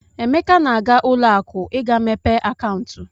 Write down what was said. Emeka na-aga ụlọakụ ị ga-mepe akaụntụ.